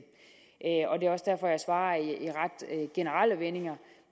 og det er også derfor jeg svarer i ret generelle vendinger